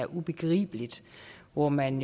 ubegribelig hvor man